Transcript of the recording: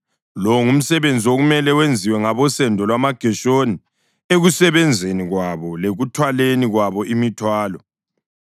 Lo ngumsebenzi okumele wenziwe ngabosendo lwamaGeshoni ekusebenzeni kwabo lekuthwaleni kwabo imithwalo: